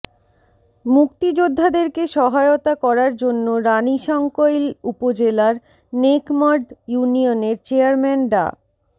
মুক্তিযোদ্ধাদেরকে সহায়তা করার জন্য রানীশংকৈল উপজেলার নেকমরদ ইউনিয়নের চেয়ারম্যান ডা